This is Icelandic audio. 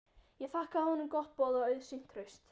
Ég þakkaði honum gott boð og auðsýnt traust.